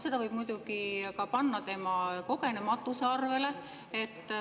Seda võib muidugi panna ka tema kogenematuse arvele.